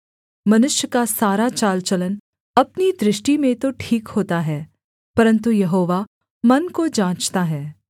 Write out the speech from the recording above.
मनुष्य का सारा चाल चलन अपनी दृष्टि में तो ठीक होता है परन्तु यहोवा मन को जाँचता है